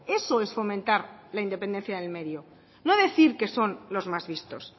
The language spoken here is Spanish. eso es fomentar la independencia del medio no decir que son los más vistos